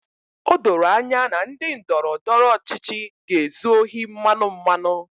O doro anya na ndị ndọrọ ndọrọ ọchịchị ga-ezu ohi mmanụ mmanụ